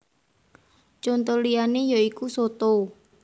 Conto liyané ya iku soto